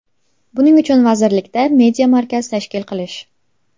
Buning uchun vazirlikda Media markaz tashkil qilish.